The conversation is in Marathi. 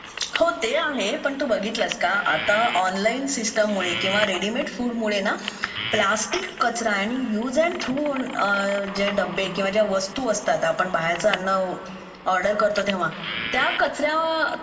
हो ते आहे पण तू बघितलस का आत्ता ऑनलाईन सिस्टम मुळे किंवा रेडीमेड फूड मुळे ना प्लॅस्टिक कचरा आणि युज अँड थ्रो जे डबे किंवा ज्या वस्तू आपण बाहेरचा अन्न ऑर्डर करतो तेव्हा त्या कचऱ्या